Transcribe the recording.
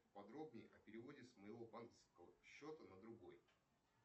подробнее о переводе с моего банковского счета на другой